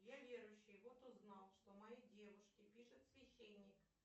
я верующий вот узнал что моей девушке пишет священник